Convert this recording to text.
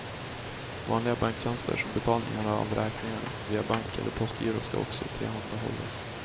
Vanliga banktjänster som betalning av räkningar via bank eller postgiro ska också tillhandahållas.